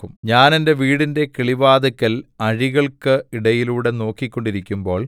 ഞാൻ എന്റെ വീടിന്റെ കിളിവാതില്ക്കൽ അഴികൾക്ക് ഇടയിലൂടെ നോക്കിക്കൊണ്ടിരിക്കുമ്പോൾ